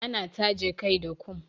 Ana taje kai da kum.